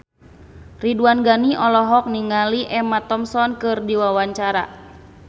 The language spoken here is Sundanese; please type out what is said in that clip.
Ridwan Ghani olohok ningali Emma Thompson keur diwawancara